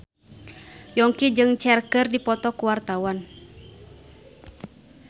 Yongki jeung Cher keur dipoto ku wartawan